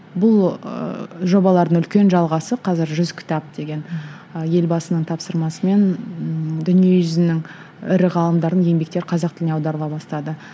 бұл ыыы жобалардың үлкен жалғасы қазір жүз кітап деген ы елбасының тапсырмасымен ыыы дүниежүзінің ірі ғалымдарының еңбектері қазақ тіліне аударыла бастады